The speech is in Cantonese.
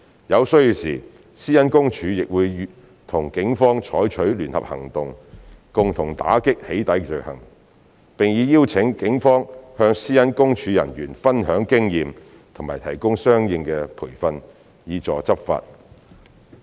有需要時，私隱公署亦會和警方採取聯合行動，共同打擊"起底"罪行，並已邀請警方向私隱公署人員分享經驗和提供相應培訓，以助執法。